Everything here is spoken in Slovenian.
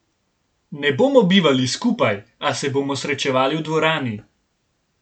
Ne bomo bivali skupaj, a se bomo srečevali v dvorani.